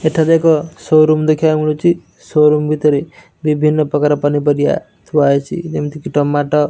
ଏଠାରେ ଏକ ସୋରୁମ୍ ଦେଖିବାକୁ ମିଳୁଛି ସୋରୁମ୍ ଭିତରେ ବିଭିନ୍ନ ପକାର ପନିପରିବା ଥୁଆହେଇଛି ଯେମିତିକି ଟମାଟ --